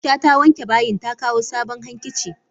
Aisha ta wanke bayin ta kawo sabon hankici.